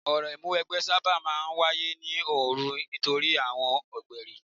Orò ìmúniwẹgbẹ́ sábà máa ń wáyé ní òru nítorí àwọn ọ̀gbẹ̀rì.